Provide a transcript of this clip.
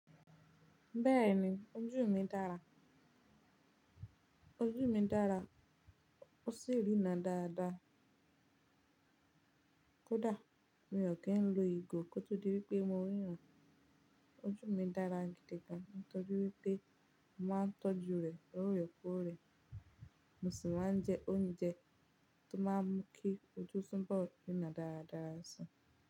Bẹ́ẹ̀ni, ojú mi dára. Ojú mi dára ó sì rínran dáadáa. Kódà mi ò kí ń lo ìgò kó tó di wípé mo ríran. Ojú mi dára gidi gan, torí wípé mo máa ń tọ́jú rè lorekore. Mo sì máa ń jẹ oúnjẹ tó máa ń mú kí ojú tó ń bọ̀ ríran dáradara sii.